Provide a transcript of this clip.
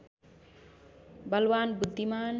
बलवान् बुद्धिमान्